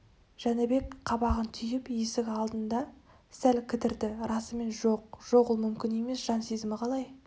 жәнібек қабағын түйіп есік алдында сәл кідірді расымен жоқ жоқ ол мүмкін емес жан сезімі қалай